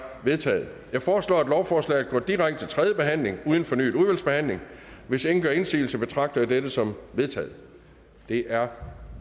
vedtaget jeg foreslår at lovforslaget går direkte til tredje behandling uden fornyet udvalgsbehandling hvis ingen gør indsigelse betragter jeg dette som vedtaget det er